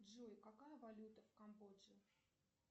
джой какая валюта в камбоджи